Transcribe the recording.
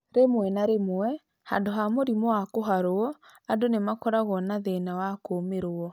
Rĩmwe na rĩmwe, handũ ha mũrimũ wa kũharwo, andũ nĩ makoragwo na thĩna wa kũũmĩrwo.